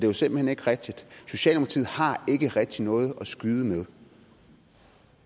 jo simpelt hen ikke rigtigt socialdemokratiet har ikke rigtig noget at skyde med